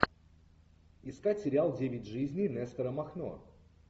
искать сериал девять жизней нестора махно